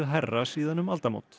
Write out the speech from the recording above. hærra síðan um aldamót